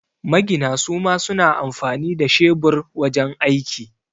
Magina suma suna amfani da shebur wajan aiki